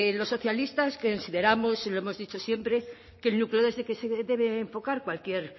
los socialistas consideramos y lo hemos dicho siempre que el núcleo desde el que se debe enfocar cualquier